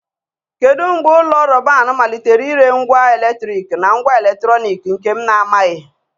Kedu mgbe ụlọ ahịa Robban malitere ire ngwa eletriki na ngwa eletrọnịkị nke m na-amaghị?